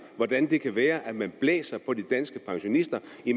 hvordan det kan være at man blæser på de danske pensionister